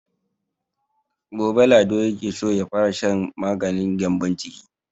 Gobe Lado yake so ya fara shan maganin gyambon ciki.